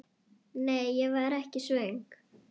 Nei, ég var ekki svöng.